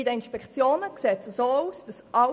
Bei den Inspektionen sieht es so aus: